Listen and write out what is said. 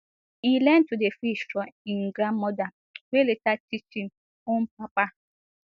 e learn to dey fish from im grandmother wey later teach im own papa